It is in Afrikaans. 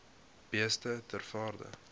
beeste ter waarde